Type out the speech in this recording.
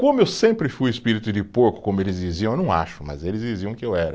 Como eu sempre fui espírito de porco, como eles diziam, eu não acho, mas eles diziam que eu era.